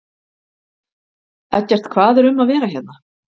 Eggert, hvað er um að vera hérna?